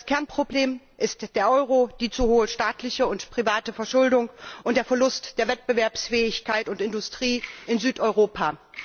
Das Kernproblem ist der Euro, die zu hohe staatliche und private Verschuldung und der Verlust der Wettbewerbsfähigkeit und Industrie in Südeuropa.